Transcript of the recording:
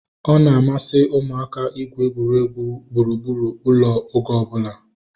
Ọ na-amasị ụmụaka igwu egwuregwu gburugburu ụlọ oge ọbụla